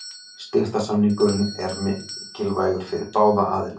Styrktarsamningurinn er mikilvægur fyrir báða aðila.